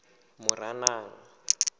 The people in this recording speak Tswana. moranang